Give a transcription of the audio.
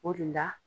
O de la